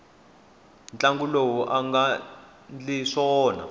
mutlangi loyi anga ndli swona